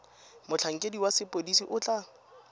motlhankedi wa sepodisi o tla